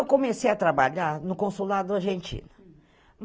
Eu comecei a trabalhar no consulado argentino.